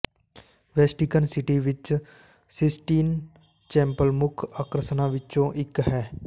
ਵੈਸਟਿਕਨ City ਵਿਚ Sistine Chapel ਮੁੱਖ ਆਕਰਸ਼ਣਾਂ ਵਿੱਚੋਂ ਇੱਕ ਹੈ